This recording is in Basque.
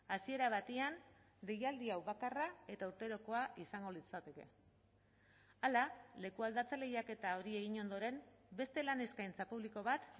hasiera batean deialdi hau bakarra eta urterokoa izango litzateke hala lekualdatze lehiaketa hori egin ondoren beste lan eskaintza publiko bat